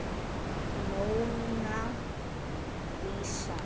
Móna Lísa.